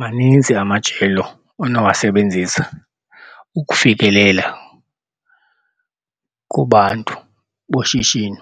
Maninzi amajelo onowasebenzisa ukufikelela kubantu boshishino.